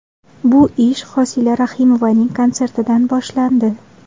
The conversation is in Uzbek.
Bu ish Hosila Rahimovaning konsertidan boshlandi.